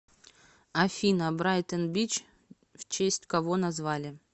афина брайтон бич в честь кого назвали